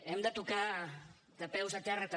hem de tocar de peus a terra també